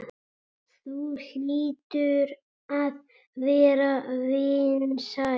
Þú hlýtur að vera vinsæl.